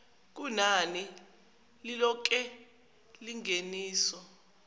kunani lilonke lengeniso